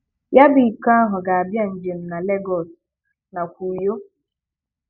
Ya bụ iko ahụ ga-abịa njem na Legọs nakwa Uyo.